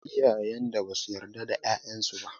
Akwai iyayen da ba su yarda da 'ya'yan su ba